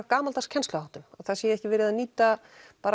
gamaldags kennsluháttum það sé ekki verið að nýta